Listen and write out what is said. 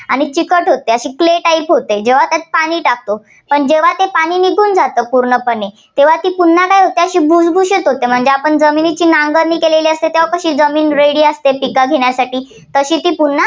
आणि चिकट होते. अशी clay type होते, जेव्हा त्यात पाणी टाकतो. जेव्हा ते पाणी निघून जाते पूर्णपणे तेव्हा ती पुन्हा काय होते ती भुसभुशीत होते. म्हणजे आपण जमिनीची नांगरणी केली असेल तेव्हा कशी जमीन ready असते, पिकं घेण्यासाठी तशी ती